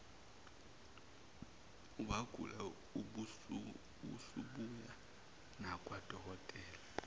wagula usubuya nakwadokotela